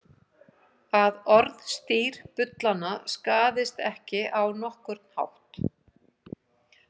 Að orðstír bullanna skaðist ekki á nokkurn hátt.